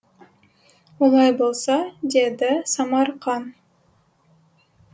олай болса деді самарқан